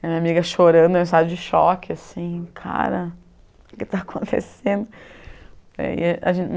Minha amiga chorando, eu em estado de choque, assim, cara, o que está acontecendo? Aí a gente